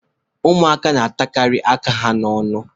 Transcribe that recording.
Ụmụaka na-atakarị aka n'ọnụ.